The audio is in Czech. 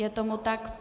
Je tomu tak.